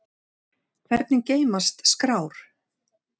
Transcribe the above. Hvernig geymast skrár?